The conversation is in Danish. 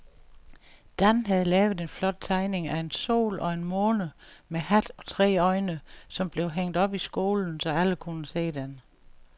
Dan havde lavet en flot tegning af en sol og en måne med hat og tre øjne, som blev hængt op i skolen, så alle kunne se den.